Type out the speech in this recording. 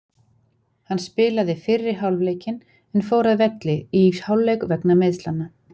Hann spilaði fyrri hálfleikinn en fór að velli í hálfleik vegna meiðslanna.